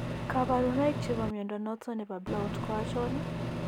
Kabarunaik chebo mnyondo noton nebo Blount ko achon ?